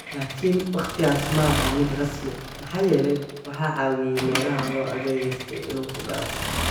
Laakiin waqtigaas ma aha mid rasmi, maxaa yeelay waxaa caawiyay meelaha loo adeegsaday in uu ku dhaco.